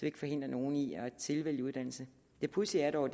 ikke forhindrer nogen i at tilvælge uddannelse det pudsige er dog